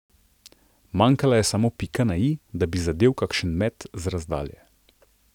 Manjkala je samo pika na i, da bi zadel kakšen met z razdalje.